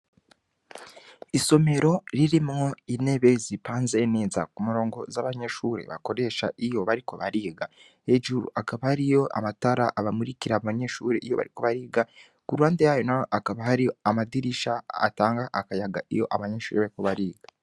Isomero ririmwo intebe zipanze neza ku murongo z'abanyeshure bakoresha iyo bariko bariga, hejuru hakaba hariyo amatara abamurikira abanyeshure iyo bariko bariga, ku ruhande yayo naho hakaba hari amadirisha atanga akayaga iyo abanyeshure bariko bariga.